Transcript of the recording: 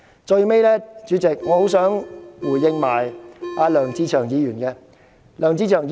主席，我最後想回應梁志祥議員。